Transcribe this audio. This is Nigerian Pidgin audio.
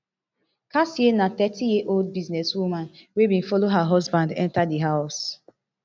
kassia na thirty years old businesswoman wey bin follow her husband enta di house